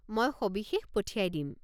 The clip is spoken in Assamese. মই সবিশেষ পঠিয়াই দিম।